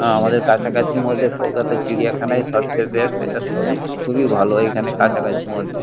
আমাদের কাছাকাছির মধ্যে কলকাতা র চিড়িয়াখানায় সবচেয়ে বেস্ট ইটা সবই খুবই ভালো এখানে কাছাকাছির মধ্যে ।